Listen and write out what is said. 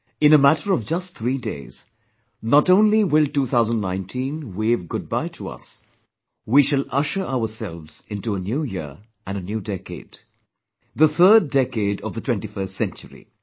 In a matter of just 3 days, not only will 2019 wave good bye to us; we shall usher our selves into a new year and a new decade; the third decade of the 21st century